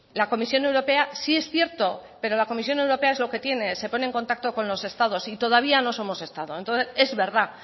la comisión europea sí es cierto pero la comisión europea es lo que tiene se pone en contacto con los estados y todavía no somos estado entonces es verdad